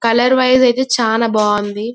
Colour wise వచ్చి చాల బాగుంది.